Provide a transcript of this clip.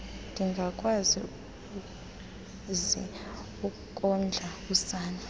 ndingakwazi ukondla usana